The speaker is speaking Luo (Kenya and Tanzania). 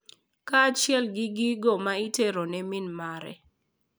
Kaachiel gi gigo ma itero ne min mare.